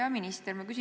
Hea minister!